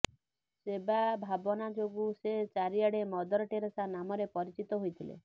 ସେବା ଭାବନା ଯୋଗୁଁ ସେ ଚାରିଆଡେ ମଦର ଟେରେସା ନାମରେ ପରିଚିତ ହୋଇଥିଲେ